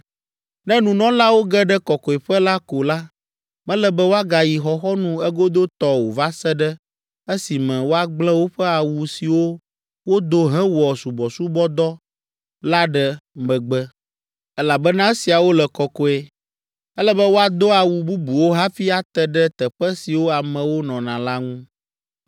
Ne nunɔlawo ge ɖe Kɔkɔeƒe la ko la, mele be woagayi xɔxɔnu egodotɔ o va se ɖe esime woagblẽ woƒe awu siwo wodo hewɔ subɔsubɔdɔ la ɖe megbe, elabena esiawo le kɔkɔe. Ele be woado awu bubuwo hafi ate ɖe teƒe siwo amewo nɔna la ŋu.”